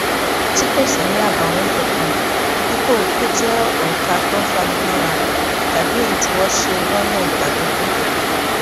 tí kò sì ní àbàwón kankan dípò kó jé òrùka tó fani móra tàbí èyí tí wón ṣe lónà ìgbàlódé